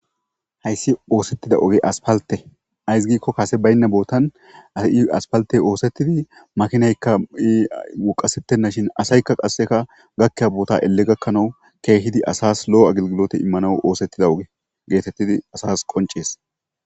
Hayssi oosettida oge aspalte ayssi giikko kase baynna boottan ai aspalte oosettidi makinaykka ii woqasettenna shin asaykka qasseka gakkiya boota elle gakkanawu keehidi asas lo7o agilgilote immano oosettida oge geetettidi asas qoncees